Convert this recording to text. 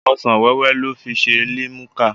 Ọsan-wẹ́wẹ́ lọ́ fi ṣe limuka.